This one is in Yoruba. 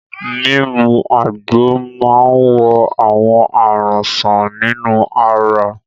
Mímu àgbo máa ń wo àwọn àrùn sàn nínú ara.